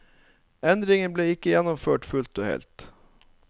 Endringen ble ikke gjennomført fullt og helt.